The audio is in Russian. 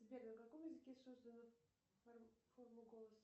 сбер на каком языке создана форма голоса